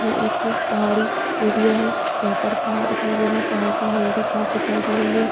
यह एक पहाड़ी एरिया है जहां पर पहाड़ दिखाई दे रहा है पहाड़ पर हरी-हरी घास दिखाई दे रही है।